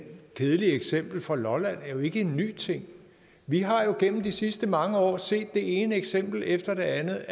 kedelige eksempel fra lolland er jo ikke en ny ting vi har jo gennem de sidste mange år set det ene eksempel efter det andet